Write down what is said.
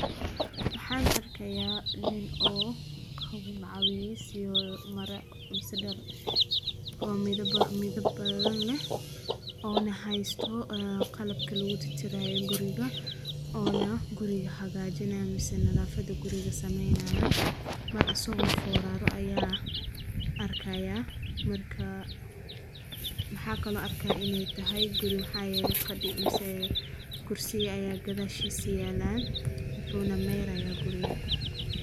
Waxaan arkayaa nin oo qabocodhey si mara muddo midab badan leh oo na haysto qallaf kala wada jiray guriga. Ono guriga hagaajinaya misana lafada guriga sameynayo mar asagoo fooraro ayaa arkayaa markaa maxaa kaloo arkay inee tahay guri maxaa yeelay fadhi umsaya kursi ayaa gadaa shisyeeyaan wuxuuna meeraaya guriga.